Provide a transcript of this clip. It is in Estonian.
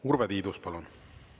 Urve Tiidus, palun!